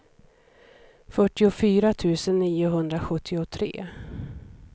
fyrtiofyra tusen niohundrasjuttiotre